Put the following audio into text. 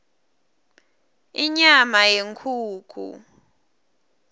inyama yenkhukhu